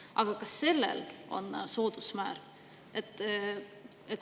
Aga ka sellel on soodusmäär.